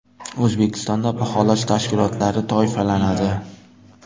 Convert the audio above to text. O‘zbekistonda baholash tashkilotlari toifalanadi.